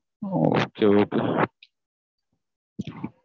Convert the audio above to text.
Okay okay